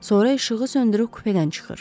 Sonra işığı söndürüb kupedən çıxır.